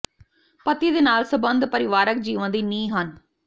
ਪਤੀ ਦੇ ਨਾਲ ਸਬੰਧ ਪਰਿਵਾਰਕ ਜੀਵਨ ਦੀ ਨੀਂਹ ਹਨ